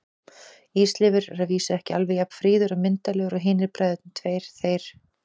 Ísleifur er að vísu ekki alveg jafn fríður og myndarlegur og hinir bræðurnir tveir, þeir